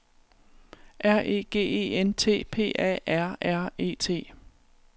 R E G E N T P A R R E T